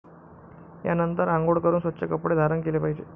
यानंतर अंघोळ करून स्वच्छ कपडे धारण केले पाहिजे.